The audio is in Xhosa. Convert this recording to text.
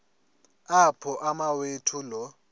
apho umawethu lo